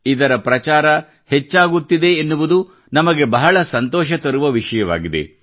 ಇದರ ಪ್ರಚಾರ ಹೆಚ್ಚಾಗುತ್ತಿದೆ ಎನ್ನುವುದು ನಮಗೆ ಬಹಳ ಸಂತೋಷ ತರುವ ವಿಷಯವಾಗಿದೆ